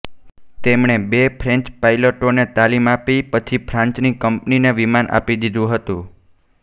તેમણે બે ફ્રેન્ચ પાઈલટોને તાલીમ આપી પછી ફ્રાન્સની કંપનીને વિમાન આપી દીધું હતુ